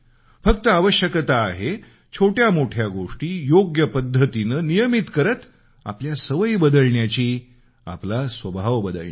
फक्त आवश्यकता आहे छोट्या मोठ्या गोष्टी योग्य पद्धतीनं नियमित करत आपल्या सवयी बदलण्याची आपला स्वभाव बदलण्याची